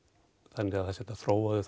þannig að það sé hægt að þróa þau